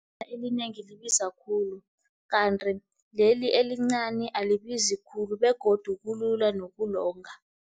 Idatha elinengi libiza khulu, kanti leli elincani alibizi khulu begodu kulula nokulonga.